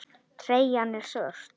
Treyjan er svört.